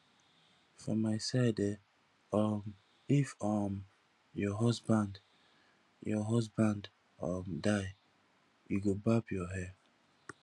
for my side eh um if um your husband your husband um die you go barb your hair